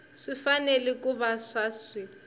swi fanele ku va swi